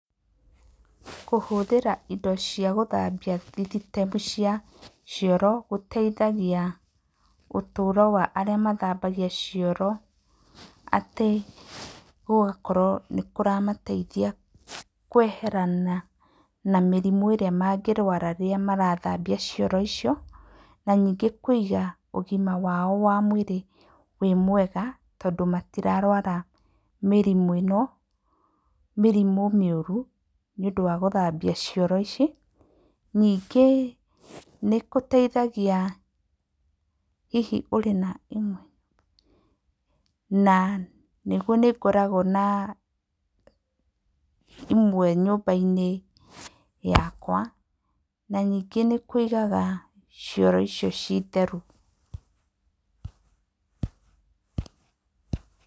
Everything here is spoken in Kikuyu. Kũhũthĩra indo cia gũthambia system cia cioro gũteithagia ũtũũro wa arĩa mathambagia cioro atĩ gũgakorwo nĩ kũramateithia kweherana na mĩrimũ ĩrĩa mangĩrũara rĩrĩa marathambia cioro icio. Na ningĩ kũiga ũgima wao wa mwĩrĩ wĩ mwega tondũ matirarwara mĩrimũ ĩno mĩrimũ mĩũru nĩ ũndũ wa gũthambia cioro ici. Ningĩ nĩ gũteithagia hihi ũrĩ na imwe [? na nĩguo nĩ ngoragwo na imwe nyũmba-inĩ yakwa. Na ningĩ nĩ kũigaga cioro icio cii theru.